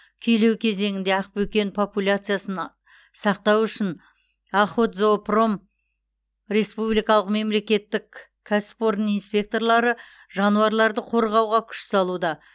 күйлеу кезеңінде ақбөкен популяциясын сақтау үшін охотзоопром республикалық мемлекеттік кәсіпорын инспекторлары жануарларды қорғауға күш салуда